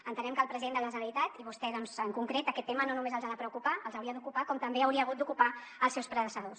entenem que al president de la generalitat i a vostè doncs en concret aquest tema no només els ha de preocupar els hauria d’ocupar com també hauria hagut d’ocupar els seus predecessors